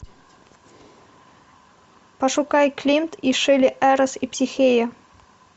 пошукай климт и шиле эрос и психея